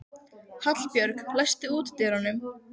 Hallbjörg, læstu útidyrunum.